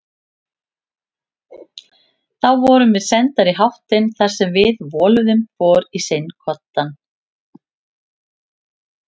Þá vorum við sendar í háttinn þar sem við voluðum hvor í sinn koddann.